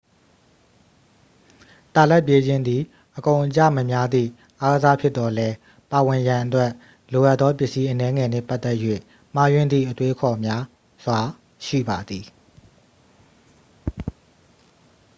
တာလတ်ပြေးခြင်းသည် အကုန်အကျမများသည့်အားကစားဖြစ်သော်လည်း ပါဝင်ရန်အတွက် လိုအပ်သောပစ္စည်းအနည်းငယ်နှင့်ပတ်သက်၍ မှားယွင်းသည့်အတွေးအခေါ်များစွာ ရှိပါသည်